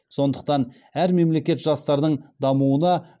сондықтан әр мемлекет жастардың дамуына